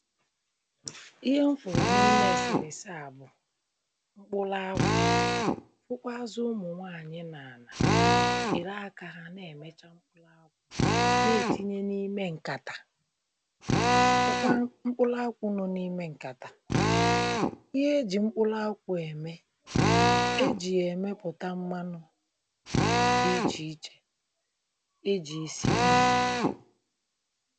Ihe m fụrụ na ime eserese a bụ̀ mkpụlụakwụ fụkwazị ụmụnwaanyị na jiri aka ha na-eme na-etinye na ime nkatā fụkwalụ mkpụlụakwụ nọ na ime nkatà ihe eji mkpụlụakwụ eme e ji ya emeputa mmanụ dị iche ichè iji si nni